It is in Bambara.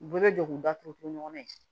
U bɛɛ bɛ don k'u datugu ɲɔgɔnna ye